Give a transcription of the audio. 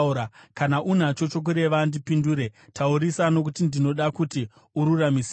Kana unacho chokureva, ndipindure; taurisa, nokuti ndinoda kuti ururamisirwe.